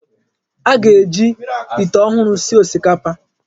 Anyị ga-eji ite ọhụrụ sie osikapa.